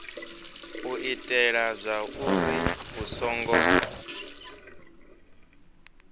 u itela zwauri hu songo